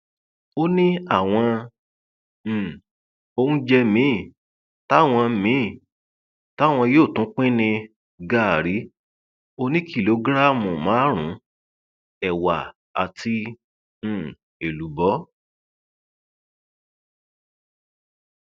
ó ní àwọn um oúnjẹ míín táwọn míín táwọn yóò tún pín ní gàárì oníkìlógíráàmù márùnún ẹwà àti um èlùbọ